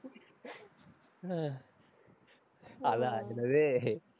அஹ் அதான், என்னது